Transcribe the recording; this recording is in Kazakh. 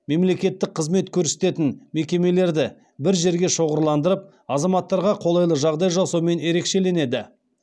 мемлекеттік қызмет көрсететін мекемелерді бір жерге шоғырландырып азаматтарға қолайлы жағдай жасаумен ерекшеленеді